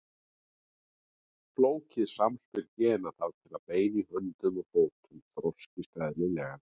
Flókið samspil gena þarf til að bein í höndum og fótum þroskist eðlilega.